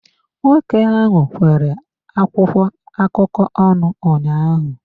Nwoke ahụ kwere akwụkwọ akụkọ ọnụ ụnyaahụ.